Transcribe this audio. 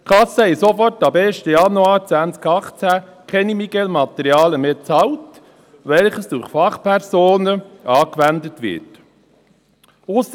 Bereits ab dem 1. Januar 2018 bezahlten die Krankenkassen keine MiGeL-Materialien mehr, die durch Fachpersonen angewendet werden.